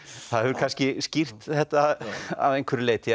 það hefur kannski skýrt þetta að einhverju leyti